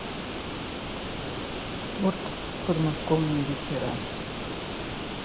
торт подмосковные вечера